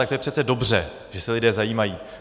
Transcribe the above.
Tak to je přece dobře, že se lidé zajímají.